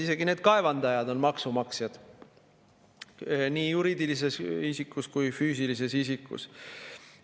Isegi kaevandajad on maksumaksjad nii juriidilises isikus kui ka füüsilises isikus.